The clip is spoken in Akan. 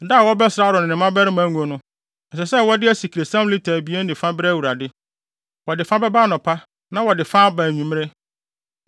“Da a wɔbɛsra Aaron ne ne mmabarima ngo no, ɛsɛ sɛ wɔde asikresiam lita abien ne fa brɛ Awurade. Wɔde fa bɛba anɔpa na wɔde fa aba anwummere.